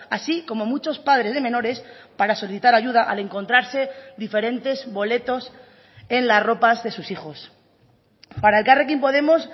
así como muchos padres de menores para solicitar ayuda al encontrarse diferentes boletos en las ropas de sus hijos para elkarrekin podemos